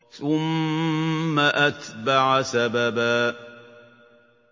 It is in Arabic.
ثُمَّ أَتْبَعَ سَبَبًا